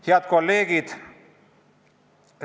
Head kolleegid!